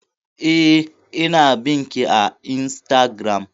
Eh, ina bin ki a Instagram